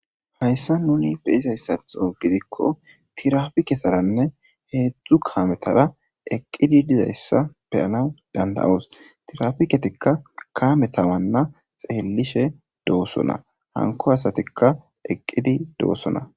Haysan nuni be'izayssato gidikko tirafiiketaranne hedzdzu kaabatara eqqidi dizayssa be'anaw danda'os.tirafikettika kaameta wana xeelishe dosonna. Hanko asattika eqqidi dosonna.